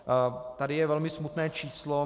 Tady je velmi smutné číslo.